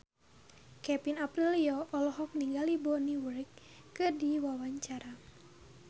Kevin Aprilio olohok ningali Bonnie Wright keur diwawancara